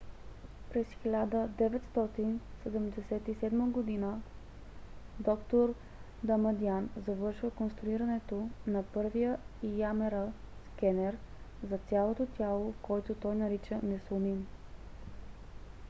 през 1977 г. д-р дамадиан завършва конструирането на първия ямр скенер за цялото тяло който той нарича несломим